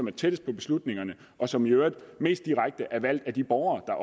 er tættest på beslutningerne og som i øvrigt mest direkte er valgt af de borgere